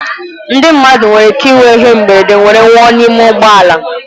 Ndị mmadụ nwere ike ịnwe ihe mberede wee nwụọ n'ime ụgbọ ala.